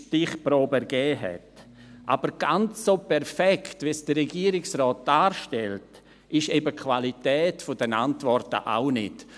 Aber ganz so perfekt, wie es der Regierungsrat darstellt, ist eben die Qualität der Antworten auch nicht.